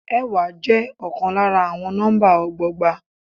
Ẹẹ́wa je ọkàn lára àwọn nọ́mbà ọgbọgba.